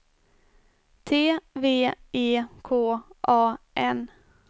T V E K A N